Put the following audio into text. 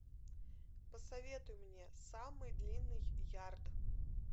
посоветуй мне самый длинный ярд